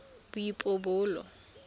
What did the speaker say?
boipobolo